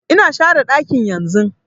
Ina share ɗakin yanzun